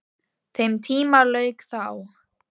Þeim tíma lauk þá.